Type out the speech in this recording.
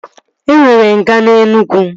E nwere nga na Enugwu